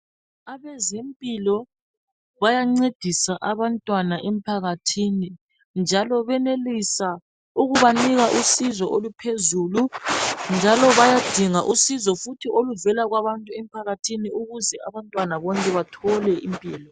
Abezempilakahle bayancedisa abantwana emphakathini njalo bayenelisa ukubanika usizo oluphezulu njalo bayadinga futhi usizo oluvela emphakathini ukuze abantwana bonke bathole impilo.